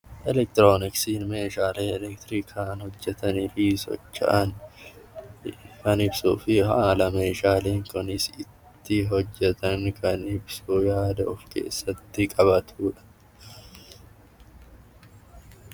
Elektirooniksiin meeshaalee elektirikaan hojjetanii fi socho'an kan ibsuu fi haala meeshaaleen kunis itti hojjetan kan ibsu yaada of keessatti qabatudha.